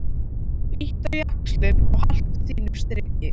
Bíttu á jaxlinn og haltu þínu striki.